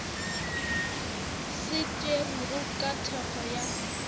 se tšerwego ka thekgo ya